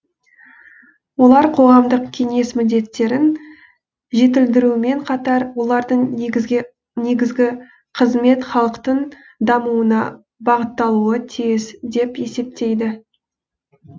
олар қоғамдық кеңес міндеттерін жетілдірумен қатар олардың негізгі қызметі халықтың дамуына бағытталуы тиіс деп есептейді